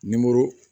Nimoro